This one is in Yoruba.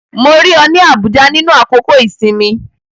Mo rí ọ ní Abuja nínú àkókò-ìsinmi